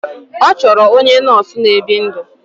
Ọ chọrọ onye nọọsụ na-ebi ndụ.